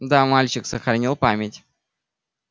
да мальчик сохранил память